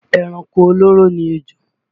Ẹranko olóró ni ejò